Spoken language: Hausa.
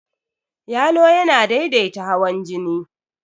Yalo yana daidaita hawan jini.